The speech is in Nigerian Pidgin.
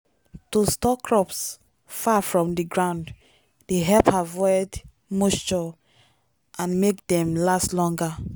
to store crops far from the ground dey help avoid moisture and make dem last longer.